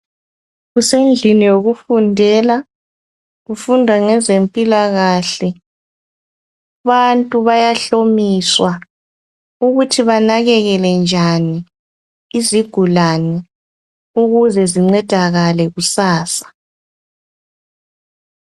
Kusendlini yokufundela. Kufundwa ngezempilakahle. Abantu bayahlomiswa, ukuthi banakelele njani izigulane, ukuze zincedakale kusasa.